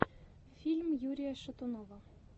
фильм юрия шатунова